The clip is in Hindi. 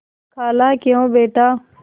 खालाक्यों बेटा